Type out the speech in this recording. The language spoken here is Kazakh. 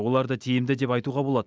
оларды тиімді деп айтуға болады